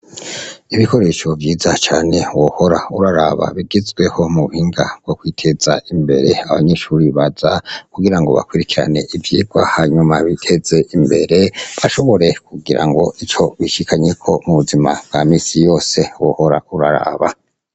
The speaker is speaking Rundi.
Ibikoresho vyiza cane wohora uraraba bigezweho mu buhinga bwo kwiteza imbere, abanyeshuri baza kugira ngo bakurikirane ivyigwa, hanyuma biteze imbere, bashobore kugira ngo ico bishikanyeko mu buzima bwa misi yose, wohora uraraba.